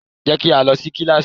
Jẹ́ ká lọ sí kíláásì!